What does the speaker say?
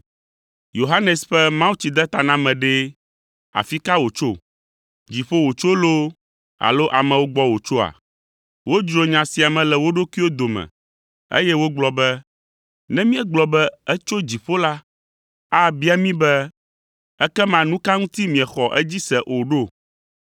Yohanes ƒe mawutsidetaname ɖe, afi ka wòtso? Dziƒo wòtso loo alo amewo gbɔ wòtsoa?” Wodzro nya sia me le wo ɖokuiwo dome, eye wogblɔ be, “Ne míegblɔ be, ‘Etso dziƒo’ la, abia mí be, ‘Ekema nu ka ŋuti miexɔ edzi se o ɖo?’